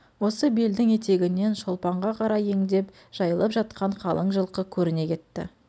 осы белдің етегінен шолпанға қарай ендеп жайылып жатқан қалың жылқы көріне кетті